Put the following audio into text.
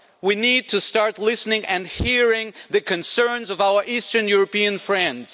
we need to start listening and hearing the concerns of our Eastern European friends.